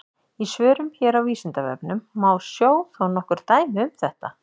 Í svörum hér á Vísindavefnum má sjá þó nokkur dæmi um þetta.